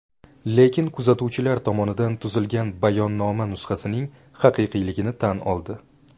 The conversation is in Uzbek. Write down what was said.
Lekin kuzatuvchilar tomonidan tuzilgan bayonnoma nusxasining haqiqiyligini tan oldi.